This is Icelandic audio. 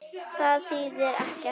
Það þýðir ekkert.